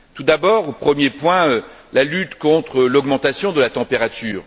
Tout d'abord, au premier point, la lutte contre l'augmentation de la température.